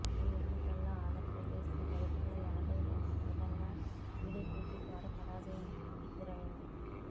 ఈ ఎన్నికల్లో ఆంధ్రప్రదేశ్ చరిత్రలో ఎన్నడూ లేని విధంగా టీడీపీకి ఘోర పరాజయం ఎదురయ్యింది